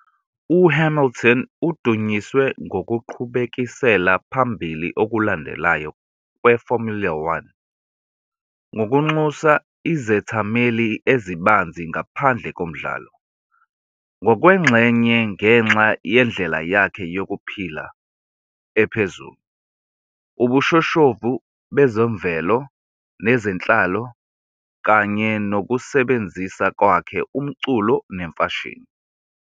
UHamilton udunyiswe ngokuqhubekisela phambili okulandelayo kweFormula One ngokunxusa izethameli ezibanzi ngaphandle komdlalo, ngokwengxenye ngenxa yendlela yakhe yokuphila ephezulu, ubushoshovu bezemvelo nezenhlalo, kanye nokusebenzisa kwakhe umculo nomfashini.